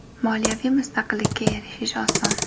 Moliyaviy mustaqillikka erishish oson.